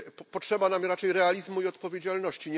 Potrzeba nam raczej realizmu i odpowiedzialności.